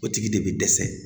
O tigi de bi dɛsɛ